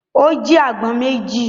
Ó jí àgbọn méjì.